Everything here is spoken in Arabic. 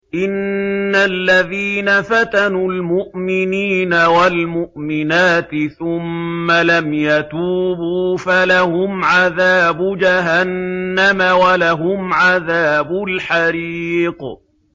إِنَّ الَّذِينَ فَتَنُوا الْمُؤْمِنِينَ وَالْمُؤْمِنَاتِ ثُمَّ لَمْ يَتُوبُوا فَلَهُمْ عَذَابُ جَهَنَّمَ وَلَهُمْ عَذَابُ الْحَرِيقِ